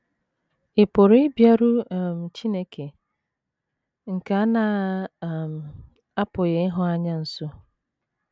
Ị̀ Pụrụ Ịbịaru um Chineke nke A Na - um apụghị Ịhụ Anya Nso?